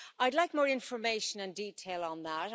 I'd like more information and detail on that.